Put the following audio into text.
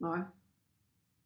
Nej